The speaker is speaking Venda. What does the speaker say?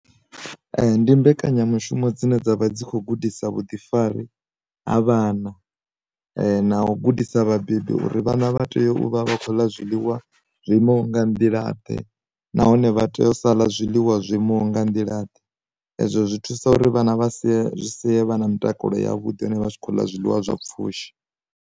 Ndi mbekanyamushumo dzine dzavha dzi kho gudisa vhuḓifari ha vhana, na u gudisa vhabebi uri vhana vha tea u vha vha khou ḽa zwiḽiwa zwo imaho nga nḓila ḓe nahone vha tea u sala zwiḽiwa zwo imaho nga nḓila ḓe, ezwo zwi thusa uri vhana vha si sie vha na mutakalo yavhuḓi ne vha tshi khou ḽa zwiḽiwa zwa pfushi.